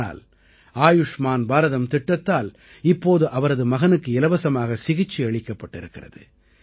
ஆனால் ஆயுஷ்மான் பாரதம் திட்டத்தால் இப்போது அவரது மகனுக்கு இலவசமாக சிகிச்சை அளிக்கப்பட்டிருக்கிறது